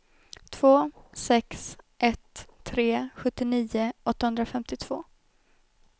två sex ett tre sjuttionio åttahundrafemtiotvå